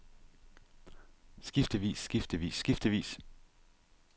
skiftevis skiftevis skiftevis